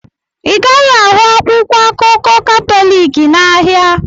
Ị gaghị ahụ akwụkwọ akụkọ Katọlik n'ahịa.